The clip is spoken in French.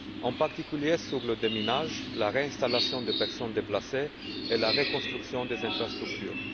en particulier sur le déminage, la réinstallation des personnes déplacées et la reconstruction des infrastructures.